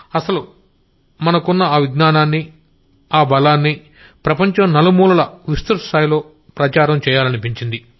అసలు మనకున్న ఆ విజ్ఞానాన్ని ఆ బలాన్ని ప్రపంచం నలుమూలలా విస్తృత స్థాయిలో ప్రచారం చెయ్యొచ్చనిపించింది